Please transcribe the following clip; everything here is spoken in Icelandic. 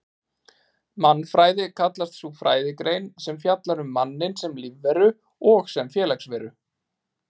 Mannfræði kallast sú fræðigrein sem fjallar um manninn sem lífveru og sem félagsveru.